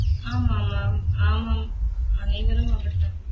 ஆம் ஆம் ஆம் ஆமாம் அனைவரும் அப்படித்தான்